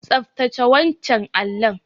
Tsaftace wancan allon.